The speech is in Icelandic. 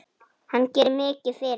Hann gerir mikið fyrir okkur.